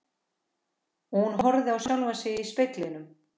Og hún horfir á sjálfa sig í speglinum.